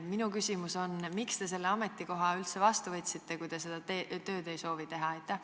Minu küsimus on: miks te selle ametikoha üldse vastu võtsite, kui te seda tööd teha ei soovi?